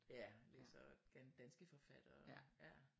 Ja læser danske forfattere